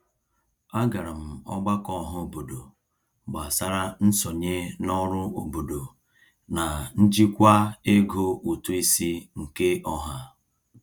A gara m ọgbakọ ọhaobodo gbasara nsonye n'ọrụ obodo na njikwa ego ụtụisi nke ọha.